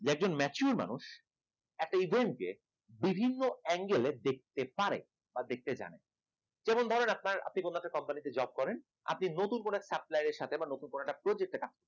একজন mature মানুষ একটা event কে বিভিন্ন angle এ দেখতে পারে বা দেখতে জানে কেবল ধরেন আপনার আপনি কোন একটা company তে job করেন আপনি নতুন কোন একটা supplier সাথে বা নতুন কোন একটা project এ